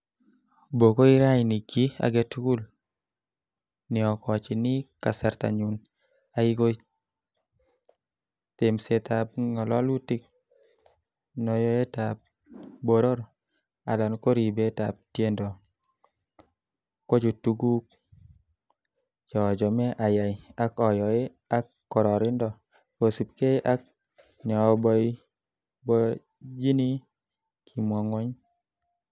'Bokoi raini, kiy agetugul neokochini kasartanyun, ia ko temsetab ngalolutik, noyetab boror alan ko ribetab tiendo, kochu kotuguk che achome ayai ak ayoe ak kororonindo, kosiibge ak neoboiboenyini,''kimwa gwony